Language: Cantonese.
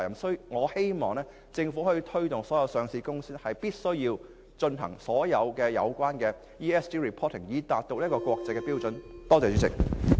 所以，我希望政府可以推動所有上市公司均必須披露環境、社會及管治資料，以達到國際標準。